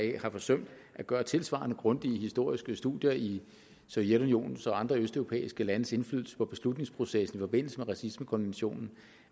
jeg har forsømt at gøre tilsvarende grundige historiske studier i sovjetunionens og andre østeuropæiske landes indflydelse på beslutningsprocessen i forbindelse med racismekonventionen